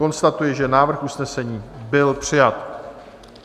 Konstatuji, že návrh usnesení byl přijat.